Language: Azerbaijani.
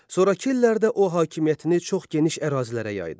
Sonrakı illərdə o hakimiyyətini çox geniş ərazilərə yaydı.